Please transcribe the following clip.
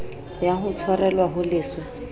ya ho tshwarelwa ho leswe